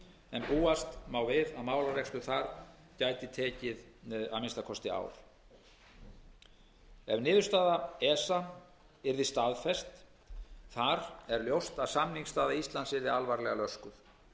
en búast má við að málarekstur þar gæti tekið að minnsta kosti ár ef niðurstaða esa yrði staðfest þar er ljóst að samningsstaða íslands yrði alvarlega löskuð